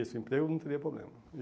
Isso, emprego não teria problema.